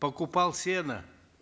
покупал сено